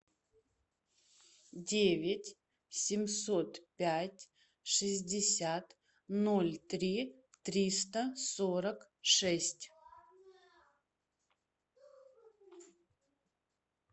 девять семьсот пять шестьдесят ноль три триста сорок шесть